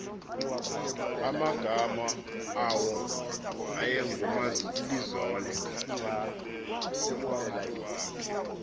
amagama awo ayengoomalizole